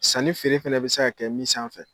San ni feere fɛnɛ bɛ se ka kɛ min sanfɛ.